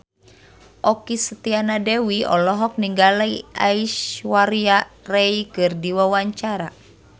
Okky Setiana Dewi olohok ningali Aishwarya Rai keur diwawancara